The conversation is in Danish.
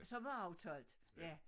Som var aftalt ja